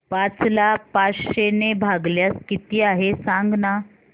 पाच ला पाचशे ने भागल्यास किती आहे सांगना